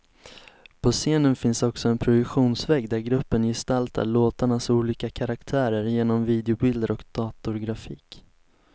På scenen finns också en projektionsvägg där gruppen gestaltar låtarnas olika karaktärer genom videobilder och datorgrafik.